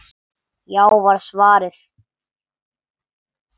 Já var svarið.